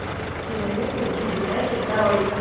кинолента би би знайки нарой